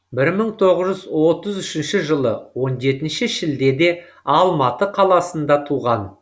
бір мың тоғыз жүз отыз үшінші жылы он жетінші шілдеде алматы қаласында туған